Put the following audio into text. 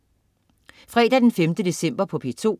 Fredag den 5. december - P2: